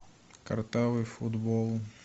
картавый футбол